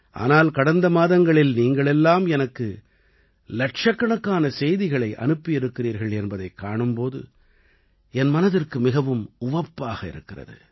ஆனால் கடந்த மாதங்களில் நீங்கள் எல்லாம் எனக்கு இலட்சக்கணக்கான செய்திகளை அனுப்பியிருக்கிறீர்கள் என்பதைக் காணும் போது என் மனதிற்கு மிகவும் உவப்பாக இருக்கிறது